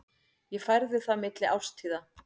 Ég færði það milli árstíða.